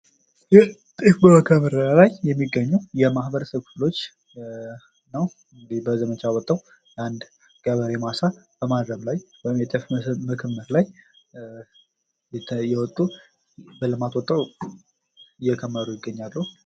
ይህ ጤፍ በመከመር ላይ የሚገኙ ማህበረሰቦች ምስል ንው። በልማት ወተው በመከመር ላይ ይገኛሉ።